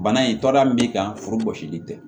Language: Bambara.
Bana in tɔrɔya min b'i kan furu gosili tɛ